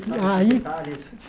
Aí